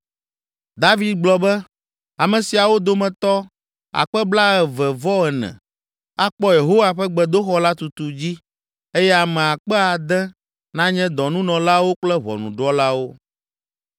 David gblɔ be, “Ame siawo dometɔ akpe blaeve-vɔ-ene (24,000) akpɔ Yehowa ƒe gbedoxɔ la tutu dzi eye ame akpe ade (6,000) nanye dɔnunɔlawo kple ʋɔnudrɔ̃lawo.